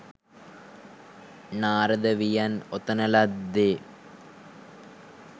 නාරද වියන් ඔතන ලද්දේ